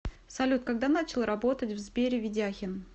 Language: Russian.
салют когда начал работать в сбере ведяхин